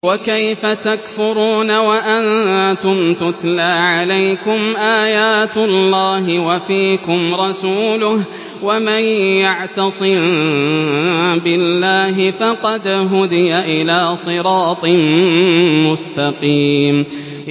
وَكَيْفَ تَكْفُرُونَ وَأَنتُمْ تُتْلَىٰ عَلَيْكُمْ آيَاتُ اللَّهِ وَفِيكُمْ رَسُولُهُ ۗ وَمَن يَعْتَصِم بِاللَّهِ فَقَدْ هُدِيَ إِلَىٰ صِرَاطٍ مُّسْتَقِيمٍ